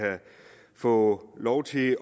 få lov til